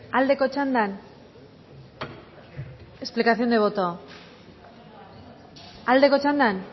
aldeko txandan explicación de voto aldeko txandan